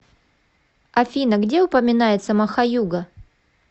афина где упоминается махаюга